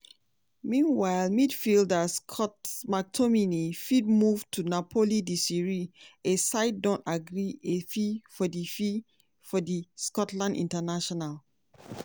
meanwhile midfielder scott mctominay fit move to napoli di serie a side don agree a fee for di fee for di scotland international.